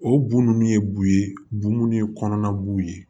O bon nunnu ye bu ye bu minnu ye kɔnɔna b'u ye